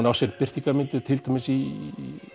á sér birtingarmynd til dæmis í